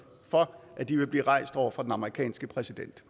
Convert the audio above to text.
for at de vil blive rejst over for den amerikanske præsident